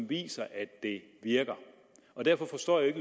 viser at det virker derfor forstår jeg ikke